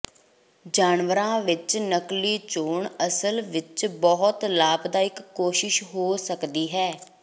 ਜਾਨਵਰਾਂ ਵਿਚ ਨਕਲੀ ਚੋਣ ਅਸਲ ਵਿਚ ਬਹੁਤ ਲਾਭਦਾਇਕ ਕੋਸ਼ਿਸ਼ ਹੋ ਸਕਦੀ ਹੈ